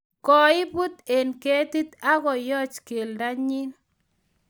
koibut eng ketit ako yoch keldonyi